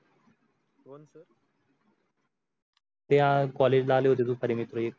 हाय college ला आले होते दुपारी मित्र एक